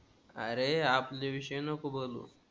आरे आमच्या विषयी नको बोलू.